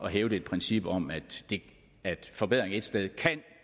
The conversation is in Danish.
hævde et princip om at forbedringer et sted